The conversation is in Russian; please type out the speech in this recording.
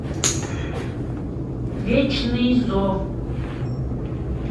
вечный зов